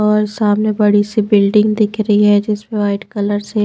और सामने बड़ी सी बिल्डिंग दिख रही है जिसमें वाइट कलर से--